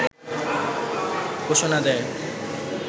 ঘোষণা দেয়